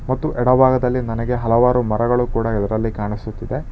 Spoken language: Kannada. ಮತ್ತು ಎಡ ಭಾಗದಲ್ಲಿ ನನಗೆ ಹಲವಾರು ಮರಗಳು ಕೂಡ ಇದರಲ್ಲಿ ಕಾಣಿಸುತ್ತಿದೆ.